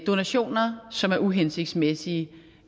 donationer som er uhensigtsmæssige